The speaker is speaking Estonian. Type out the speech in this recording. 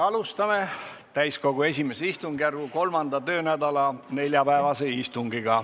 Alustame täiskogu I istungjärgu 3. töönädala neljapäevast istungit.